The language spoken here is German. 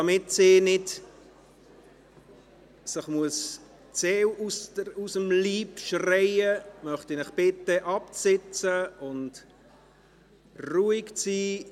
Damit sich die nächste Sprechende nicht die Seele aus dem Leib schreien muss, möchte ich Sie bitten, sich zu setzen und ruhig zu sein.